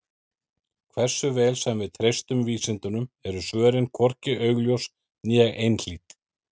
Hversu vel sem við treystum vísindunum eru svörin hvorki augljós né einhlít.